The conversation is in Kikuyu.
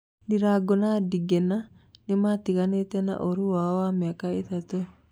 Ndirango na Ndigana nĩmatiganĩte na ũru wao wa miaka ĩtatũ